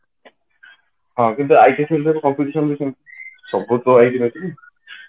ହଁ କିନ୍ତୁ IT field ରେ competition ବି ସେମିତି ସବୁ ତ